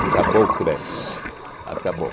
o crédito, acabou.